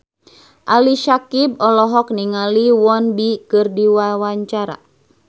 Ali Syakieb olohok ningali Won Bin keur diwawancara